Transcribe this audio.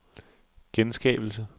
genskabelse